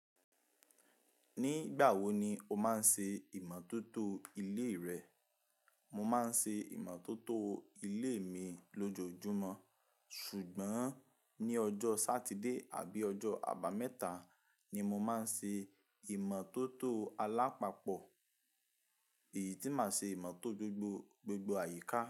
Nígbà wo ni o máa ń ṣe ìmọ́tótó ilé rẹ? Mo máa ń ṣe ìmọ́tótó ilé mi lójoojúmọ́, ṣùgbọ́n ní ọjọ́ Sátidé àbí ọjọ́ àbámẹ́ta ni mo máa ń ṣe ìmọ́tótó alápapọ̀, èyí tí màá ṣe ìmọ́tò gbogbo, gbogbo àyíká.